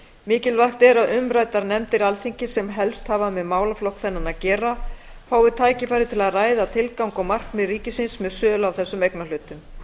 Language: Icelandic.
mikilvægt er að umræddar nefndir alþingis sem helst hafa með málaflokk þennan að gera fái tækifæri til að ræða tilgang og markmið ríkisins með sölu á þessum eignarhlutum